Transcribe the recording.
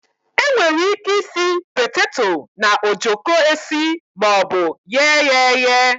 E nwere ike isi petato na ojoko esi maọbu ghee ya eghe.